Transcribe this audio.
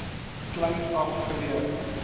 kleins af geleer